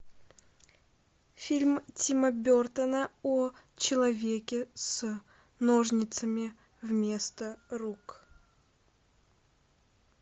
фильм тима бертона о человеке с ножницами вместо рук